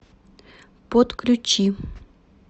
подключи